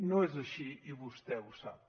no és així i vostè ho sap